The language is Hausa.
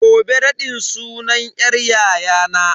Gobe raɗin sunan yar yayana.